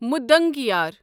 مُدنگیار